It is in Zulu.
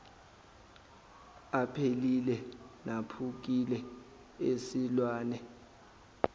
aphelile naphukile esilwane